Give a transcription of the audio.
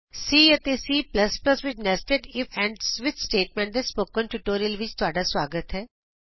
C ਅਤੇ C ਵਿਚ nested if and switch statements ਦੇ ਸਪੋਕਨ ਟਯੂਟੋਰਿਅਲ ਵਿਚ ਤੁਹਾਡਾ ਸੁਆਗਤ ਹੈ